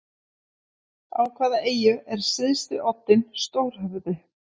Á hvaða eyju er syðsti oddinn stórhöfði?